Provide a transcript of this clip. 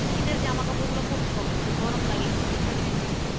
শীতের জামাকাপড় গুলো পড়তে হবে যাতে গরম লাগে উষ্ণ থাকে শরীর টা।